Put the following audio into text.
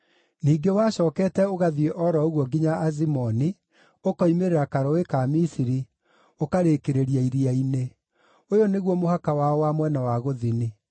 Ningĩ wacookete ũgathiĩ o ro ũguo nginya Azimoni, ũkoimĩrĩra karũũĩ ka bũrũri wa Misiri, ũkarĩkĩrĩria iria-inĩ. Ũyũ nĩguo mũhaka wao wa mwena wa gũthini.